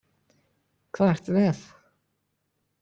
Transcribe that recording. Hvað ertu með?